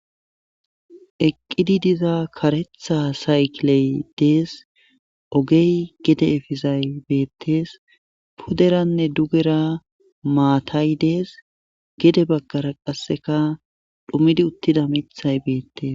eqqidi diza karetha saykley dees ogey gede efizay beettes puderanne dugera maatay dees gede baggara qasseka dhumidi uttida mithay beettes